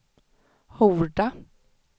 Horda